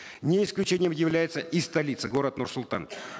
не исключением является и столица город нур султан